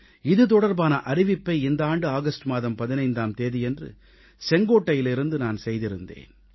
இது தொடர்பான அறிவிப்பை இந்த ஆண்டு ஆகஸ்ட் மாதம் 15ஆம் தேதியன்று செங்கோட்டையிலிருந்து நான் செய்திருந்தேன்